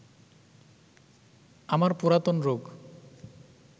আমার পুরাতন রোগ